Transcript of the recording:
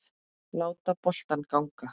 Láta boltann ganga.